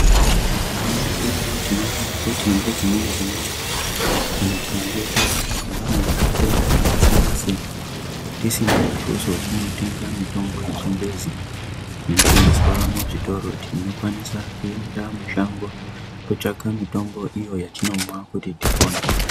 Mukupona kwedu tinoona kuti ngedzimweni dzenguwa kana tikange tawirwa ngematenda akasiyanasiyana tisina mutuso wekunotenga mutombo yechingezi inotengeswa muzvitoro unokwanisa kuenda mushango kootsvaka.